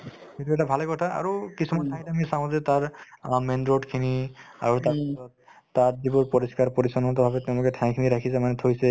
এইটো এটা ভালে কথা আৰু কিছুমান ঠাইত আমি চাওঁ যে তাৰ অ main road খিনি আৰু তাত তাত যিবোৰ পৰিষ্কাৰ-পৰিচন্নতা আছে তেওঁলোকে ঠাইখিনি ৰাখিছে মানে থৈছে